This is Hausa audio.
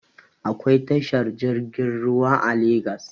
Akwai tashar jirgin ruwa a legas